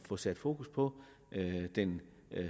få sat fokus på den